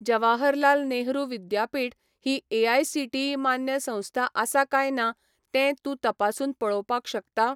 जवाहरलाल नेहरू विद्यापीठ ही एआयसीटीई मान्य संस्था आसा काय ना तें तूं तपासून पळोवपाक शकता?